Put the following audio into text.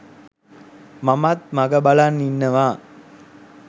මමත් මග බලන් ඉන්නවා.